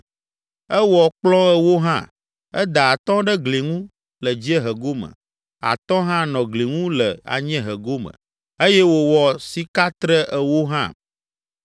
Ewɔ kplɔ̃ ewo hã; eda atɔ̃ ɖe gli ŋu le dziehe gome, atɔ̃ hã nɔ gli ŋu le anyiehe gome eye wòwɔ sikatre ewo hã.